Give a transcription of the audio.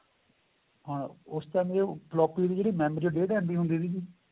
ਹਾਂ ਉਸ time floppy ਦੀ ਜਿਹੜੀ memory ਏ ਉਹ ਡੇਢ MB ਹੁੰਦੀ ਸੀਗੀ